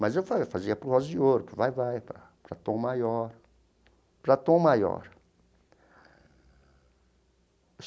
Mas eu fazia fazia para o Rosa de Ouro, para o Vai-Vai, para para Tom Maior, para Tom Maior.